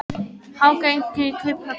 Hækkun í Kauphöllinni